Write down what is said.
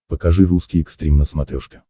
покажи русский экстрим на смотрешке